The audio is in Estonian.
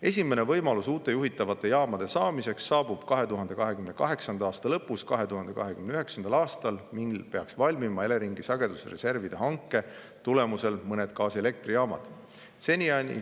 Esimene võimalus uute juhitavate jaamade saamiseks saabub 2028. aasta lõpus või 2029. aastal, mil peaks valmima Eleringi sagedusreservide hanke tulemusel mõned gaasielektrijaamad.